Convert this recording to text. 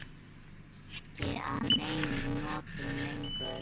Þetta kemur mér ekki að neinum notum lengur.